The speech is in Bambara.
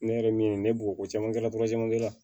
Ne yɛrɛ min ye ne bugɔ ko caman kɛ la